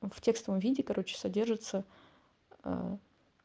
в текстовом виде короче содержится а